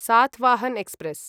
Satavahana express